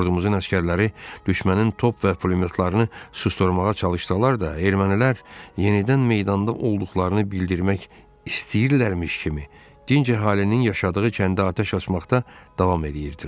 Ordumuzun əsgərləri düşmənin top və pulemyotlarını susdurmağa çalışsalar da, ermənilər yenidən meydanda olduqlarını bildirmək istəyirlərmiş kimi, dinc əhalinin yaşadığı kəndə atəş açmaqda davam eləyirdilər.